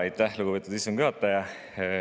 Aitäh, lugupeetud istungi juhataja!